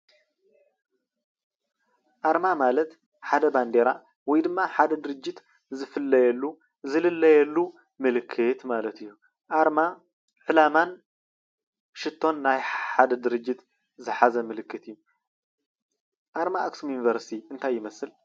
አርማ ማለት ሓደ ባንዴራ ወይ ድማ ሓደ ድርጅት ዝፍለየሉ ዝልለየሉ ምልክት ማለት እዩ አርማ ዕላማን ሽቶን ናይ ሓደ ድርጅት ዝሓዘ ምልክት እዩ። አርማ አክሱም ዩንቨርስቲ እንታይ ይመስል ?